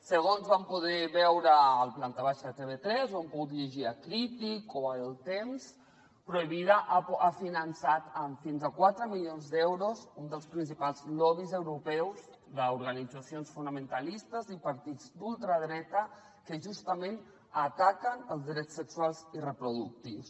segons vam poder veure al planta baixa de tv3 ho hem pogut llegir a o el temps provida ha finançat amb fins a quatre milions d’euros un dels principals lobbys europeus d’organitzacions fonamentalistes i partits d’ultradreta que justament ataquen els drets sexuals i reproductius